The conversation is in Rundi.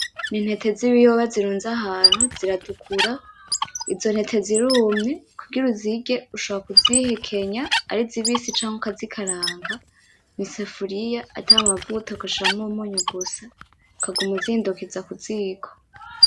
N'intete z'ibiyobe zirunze ahantu ziratukura, izo ntete zirumye kugira uzirye ushobora kuzihekenya ari zibisi canke ukazikaranga mwisafuriya atamavuta ugashiramwo umunyu gusa ukaguma uzihindukiza kuziko.